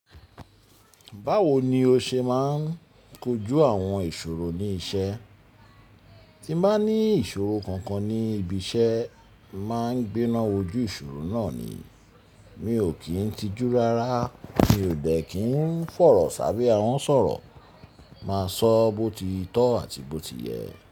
Báwo ni o ṣe máa ń kojú àwọn ìṣòro ní iṣẹ́? Tí bá ní ìṣòro kankan ní ibi iṣẹ́, màá ń gbéná ojú ìṣòro náà ni. Mi ò kí ń tijú rárá, mi ò bẹ́ẹ̀ kí ń fọ̀rọ̀ sábẹ́ àwọn sọ̀rọ̀. Màá sọ bó ti tọ́ àti bó ti yẹ.